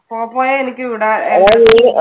പോപ്പോയെ എനിക്ക് വിടാൻ